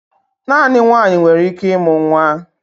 Naanị nwaanyị nwere ike ịmụ nwa